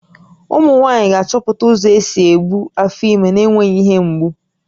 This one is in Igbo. Ụmụ nwaanyị ga-achọpụta ụzọ isi ebu afọ ime na-enweghị ihe mgbu